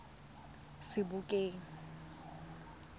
sebokeng